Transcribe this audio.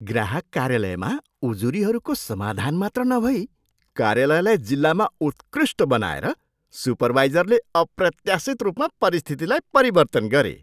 ग्राहक कार्यालयमा उजुरीहरूको समाधान मात्र नभई कार्यालयलाई जिल्लामा उत्कृष्ट बनाएर सुपरवाइजरले अप्रत्याशित रूपमा परिस्थितिलाई परिवर्तन गरे।